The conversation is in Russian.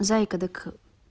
зайка так